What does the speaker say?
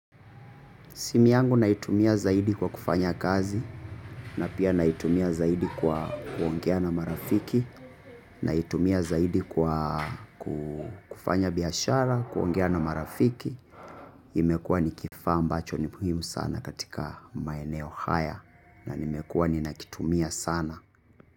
Simu yangu naitumia zaidi kwa kufanya kazi na pia naitumia zaidi kwa kuongea na marafiki, naitumia zaidi kwa kufanya biashara, kuongea na marafiki. Imekuwa ni kifaa ambacho ni muhimu sana katika maeneo haya na nimekuwa ninakitumia sana.